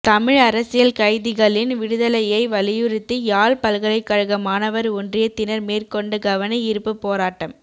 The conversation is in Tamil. தமிழ் அரசியல் கைதிகளின் விடுதலையை வலியுறுத்தி யாழ் பல்கலைக்கழக மாணவர் ஒன்றியத்தினர் மேற்கொண்ட கவனயீர்ப்பு போராட்டம்